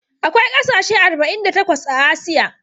Akwai kasashe arba'in da takwas a Asiya.